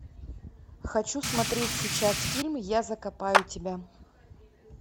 хочу смотреть сейчас фильм я закопаю тебя